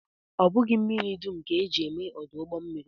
Ọ bụghị mmiri dum ka e ji eme ọdụ ụgbọmmiri